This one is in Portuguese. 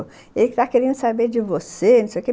Ele está querendo saber de você.